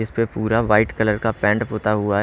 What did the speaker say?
इसपे पूरा white colour का पेंट होता हुआ है।